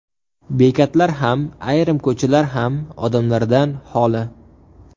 Bekatlar ham, ayrim ko‘chalar ham odamlardan xoli.